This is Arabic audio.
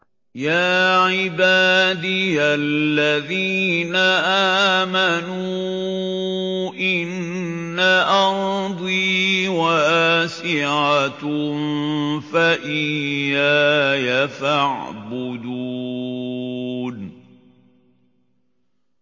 يَا عِبَادِيَ الَّذِينَ آمَنُوا إِنَّ أَرْضِي وَاسِعَةٌ فَإِيَّايَ فَاعْبُدُونِ